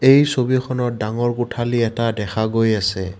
এই ছবিখনত ডাঙৰ কোঠালী এটা দেখা গৈ আছে।